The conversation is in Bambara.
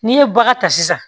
N'i ye bagan ta sisan